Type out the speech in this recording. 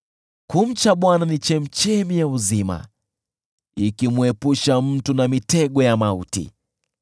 Kumcha Bwana ni chemchemi ya uzima, ili kumwepusha mtu na mitego ya mauti.